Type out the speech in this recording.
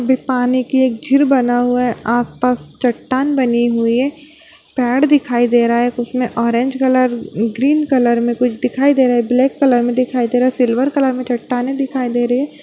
पानी की एक झील बना हुआ है आसपास चट्टान बनी हुई है पेड़ दिखाई दे रहा है उसमें ऑरेंज कलर ग्रीन कलर में कुछ दिखाई दे रहा है ब्लैक कलर में दिखाई सिल्वर कलर में चट्टानें दिखाई दे रहे है।